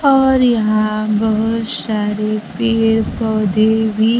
और यहां बहोत सारे पेड़ पौधे भी--